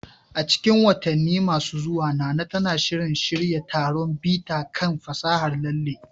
A cikin watanni masu zuwa, Nana tana shirin shirya taron bita kan fasahar lalle